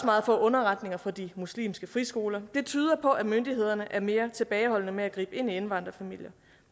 meget få underretninger fra de muslimske friskoler det tyder på at myndighederne er mere tilbageholdende med at gribe ind i indvandrerfamilier